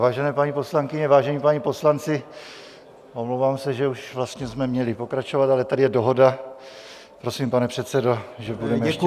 Vážené paní poslankyně, vážení páni poslanci, omlouvám se, že už vlastně jsme měli pokračovat, ale tady je dohoda, prosím, pane předsedo, že budeme ještě...